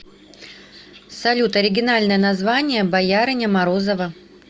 салют оригинальное название боярыня морозова